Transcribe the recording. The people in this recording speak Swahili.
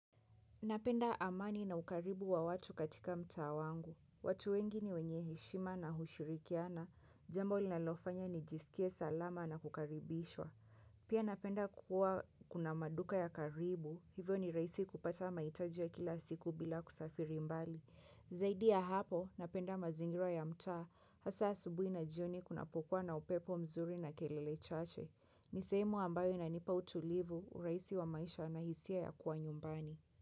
Napenda amani na ukaribu wa watu katika mtaa wangu. Watu wengi ni wenye heshima na hushirikiana. Jambo li nalofanya ni jisikie salama na kukaribishwa. Pia napenda kuwa kuna maduka ya karibu. Hivyo ni rahisi kupata mahitaji ya kila siku bila kusafiri mbali. Zaidi ya hapo, napenda mazingira ya mtaa. Hasa asubuhi na jioni kuna pokua na upepo mzuri na kelele chache. Nisehemu ambayo inanipa utulivu, urahisi wa maisha na hisia ya kuwa nyumbani.